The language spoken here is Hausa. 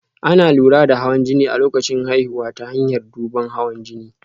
Ana lura da hawan jini a lokacin haihuwa ta hanyar duban hawan jini